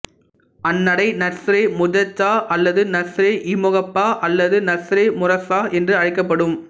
அந்நடை நஸ்ரேமுசஜ்ஜா அல்லது நஸ்ரேஇமுகப்பா அல்லது நஸ்ரே முரஸ்ஸா என்று அழைக்கப்படும்